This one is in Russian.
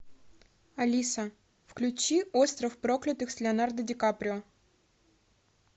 алиса включи остров проклятых с леонардо ди каприо